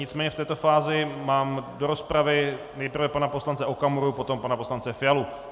Nicméně v této fázi mám do rozpravy nejprve pana poslance Okamuru, potom pana poslance Fialu.